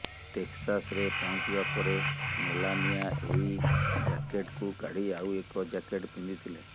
ଟେକ୍ସାସରେ ପହଞ୍ଚିବା ପରେ ମେଲାନିଆ ଏହି ଜ୍ୟାକେଟ୍କୁ କାଢି ଆଉ ଏକ ଜ୍ୟାକେଟ୍ ପିନ୍ଧିଥିଲେ